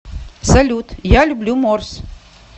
салют я люблю морс